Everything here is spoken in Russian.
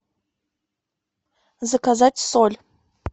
заказать соль